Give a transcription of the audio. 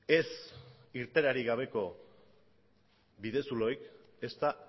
ez irteerarik gabeko bidezuloek ez da